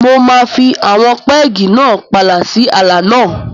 Mo máa fi àwọn pẹ́ẹ̀gì náà pààlà sí ààlà náà.